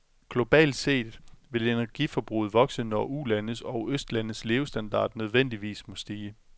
Globalt set vil energiforbruget vokse, når ulandes og østlandes levestandard nødvendigvis må stige.